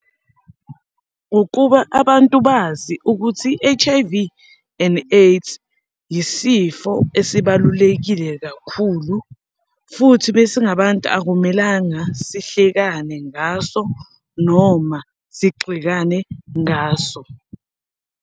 Ukuba abantu bazi ukuthi i-H_I_V and AIDS yisifo esibalulekile kakhulu, futhi besingabantu akumelanga sihlekane ngaso, noma sigxekane ngaso.